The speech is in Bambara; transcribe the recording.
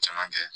Caman kɛ